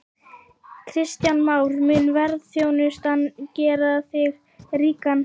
Kristján Már: Mun ferðaþjónustan gera þig ríkan?